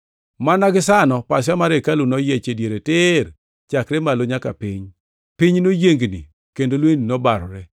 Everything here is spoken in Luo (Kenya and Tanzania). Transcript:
Mana gisano pasia mar hekalu noyiech e diere tir, chakre malo nyaka piny. Piny noyiengni kendo lwendni nobarore.